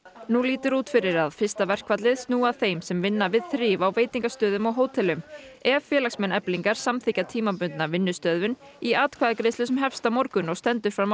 nú lítur út fyrir að fyrsta verkfallið snúi að þeim sem vinna við þrif á veitingastöðum og hótelum ef félagsmenn Eflingar samþykkja tímabundna vinnustöðvun í atkvæðagreiðslu sem hefst á morgun og stendur fram á